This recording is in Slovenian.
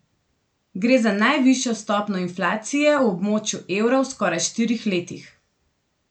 Gre za najvišjo stopnjo inflacije v območju evra v skoraj štirih letih.